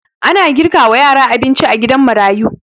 Ana girka wa yara abinci a gidan marayu